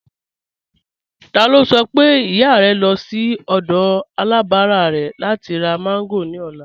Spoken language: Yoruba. Tólá ṣọ̀ pé ìyà rẹ̀ ń lọ̀ sí ọdọ̀ alábárà rẹ̀ láti rá mango ni ọlá